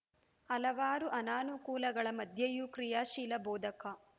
ಹಲವಾರು ಅನಾನುಕೂಲಗಳ ಮಧ್ಯೆಯೂ ಕ್ರಿಯಾಶೀಲ ಬೋಧಕ